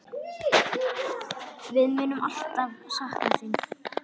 Við munum alltaf sakna þín.